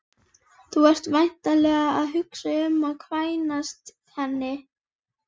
Þú ert væntanlega að hugsa um að kvænast henni